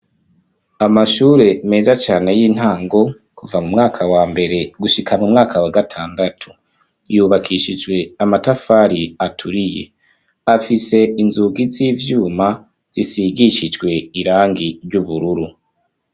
Amashure meza cane, y’intango, kuva mu mwaka wa mbere, gushika mu mwaka wa gatandatu; yubakishijwe amatafari aturiye; afise inzugi z'ivyuma, zisigishijwe irangi ry’ubururu.